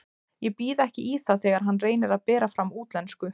Ég býð ekki í það þegar hann reynir að bera fram á útlensku.